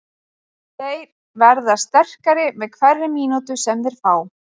Þeir verða sterkari með hverri mínútu sem þeir fá.